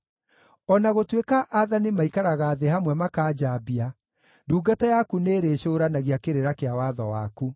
O na gũtuĩka aathani maikaraga thĩ hamwe makanjambia, ndungata yaku nĩĩrĩcũũranagia kĩrĩra kĩa watho waku.